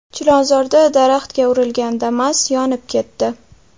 Chilonzorda daraxtga urilgan Damas yonib ketdi .